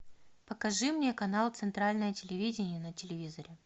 покажи мне канал центральное телевидение на телевизоре